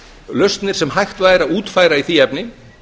lausnir sem hægt væri að útfæra í því efni